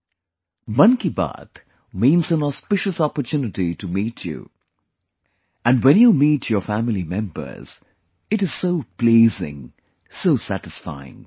'Mann Ki Baat' means an auspicious opportunity to meet you, and when you meet your family members, it is so pleasing... so satisfying